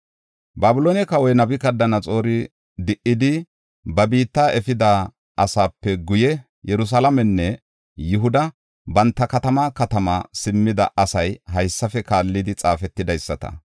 Babiloone kawoy Nabukadanaxoori di77idi, ba biitta efida asaape guye, Yerusalaamenne Yihuda banta katamaa katamaa simmida asay haysafe kaallidi xaafetidaysata.